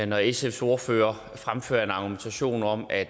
når sfs ordfører fremfører en argumentation om at